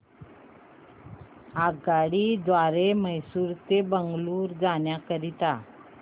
आगगाडी द्वारे मैसूर ते बंगळुरू जाण्या करीता